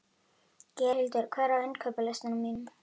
Geirhildur, hvað er á innkaupalistanum mínum?